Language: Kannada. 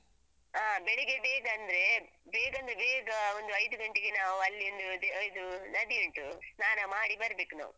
ಹ ಬೆಳಗ್ಗೆ ಬೇಗ ಅಂದ್ರೇ ಬೇಗ ಅಂದ್ರೆ ಬೇಗ ಒಂದು ಐದು ಗಂಟೆಗೆ ನಾವು ಅಲ್ಲಿ ಒಂದು ಇದು ನದಿಯುಂಟು ಸ್ನಾನ ಮಾಡಿ ಬರ್ಬೇಕು ನಾವು.